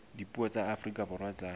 dipuo tsa afrika borwa tsa